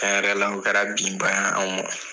cɛn yɛrɛ la o kɛra binba ye anw ma